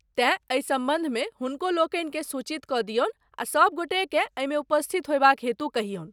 तेँ, एहि सम्बन्धमे हुनकहुलोकनिकेँ सूचित कऽ दियनु आ सब गोटेकेँ एहिमे उपस्थित होयबाक हेतु कहियनु।